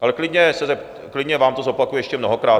Ale klidně vám to zopakuji ještě mnohokrát.